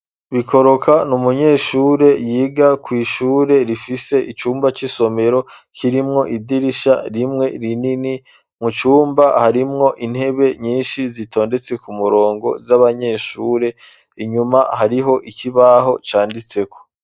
Bikoroka ni umunyeshure yiga kw'ishure rifise icumba c'isomero, kirimwo idirisha rimwe rinini. Mu cumba harimwo intebe nyinshi zitondetse k'umurongo z'abanyeshure. Inyuma hariho ikibaho canditseko.